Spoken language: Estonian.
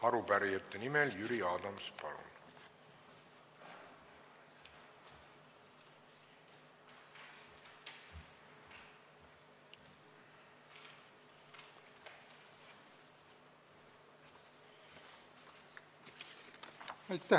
Arupärijate nimel Jüri Adams, palun!